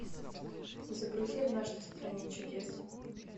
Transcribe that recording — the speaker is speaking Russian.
загрузи однажды в стране чудес